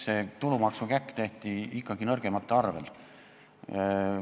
See tulumaksukäkk tehti ikkagi nõrgemate arvel.